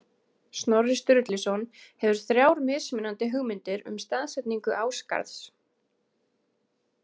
Snorri Sturluson hefur þrjár mismunandi hugmyndir um staðsetningu Ásgarðs.